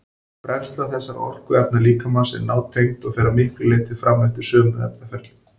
Brennsla þessara orkuefna líkamans er nátengd og fer að miklu leyti fram eftir sömu efnaferlum.